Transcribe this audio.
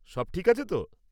সব ঠিক আছে তো?